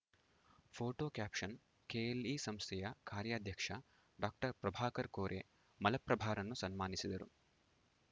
photo caption KLE ಸಂಸ್ಥೆಯ ಕಾರ್ಯಾಧ್ಯಕ್ಷ doctor Prabhakar Kore ಮಲಪ್ರಭಾರನ್ನು ಸನ್ಮಾನಿಸಿದರು